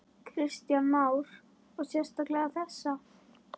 Kristján Már: Og sérstaklega þessa?